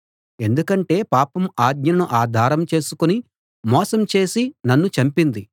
ఎందుకంటే పాపం ఆజ్ఞను ఆధారంగా చేసుకుని మోసం చేసి నన్ను చంపింది